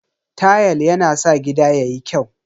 Tayal yana sa gida yayi kyau.